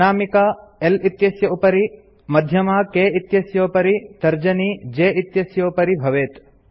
अनामिका L इत्यस्योपरि मध्यमा K इत्यस्योपरि तर्जनी J इत्यस्योपरि भवेत्